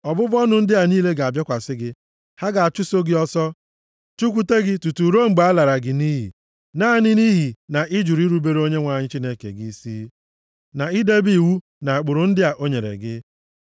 Ọbụbụ ọnụ ndị a niile ga-abịakwasị gị. Ha ga-achụso gị ọsọ, chụkwute gị tutu ruo mgbe a lara gị nʼiyi, naanị nʼihi na ị jụrụ irubere Onyenwe anyị Chineke gị isi, na idebe iwu na ụkpụrụ ndị a o nyere gị.